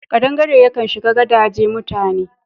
Ƙadangaren yakan shiga gadaje mutane..